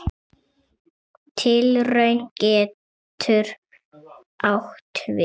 Tilraun getur átt við